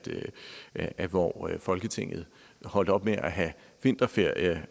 at hvor folketinget holdt op med have vinterferie